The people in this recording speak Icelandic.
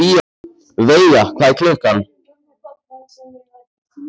Veiga, hvað er klukkan?